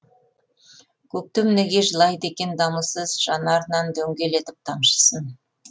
көктем неге жылайды екен дамылсыз жанарынан дөңгелетіп тамшысын